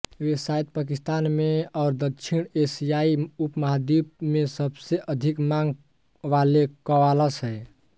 वे शायद पाकिस्तान में और दक्षिण एशियाई उपमहाद्वीप में सबसे अधिक मांग वाले कव्वाल्स हैं